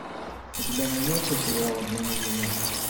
у тебя найдется сериал обмани меня